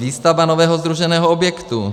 Výstavba nového sdruženého objektu.